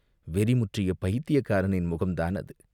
வெறி முற்றிய பைத்தியக்காரனின் முகம்தான் அது!